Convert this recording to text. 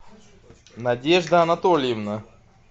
надежда анатольевна